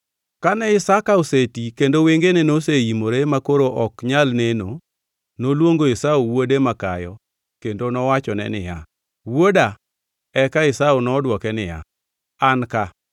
Kane Isaka oseti kendo wengene noseimore makoro ok nyal neno, noluongo Esau wuode makayo kendo owachone niya, “Wuoda.” Eka Esau nodwoke niya, “An ka.”